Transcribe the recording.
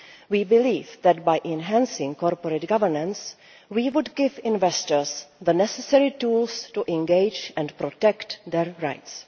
We believe that by enhancing corporate governance, we would give investors the necessary tools to engage and protect their rights.